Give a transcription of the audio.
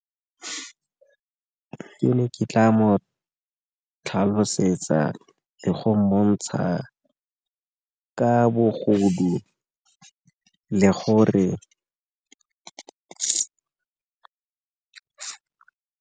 Ke ne ke tla mo tlhalosetsa le go montsha ka bogodu le gore.